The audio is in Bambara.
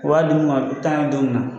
U b'a di mun ma a b taa y don min na